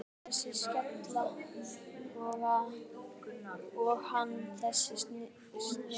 Hún þessi skella og hann þessi snigill.